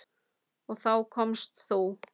Og þá komst þú.